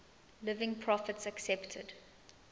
living prophets accepted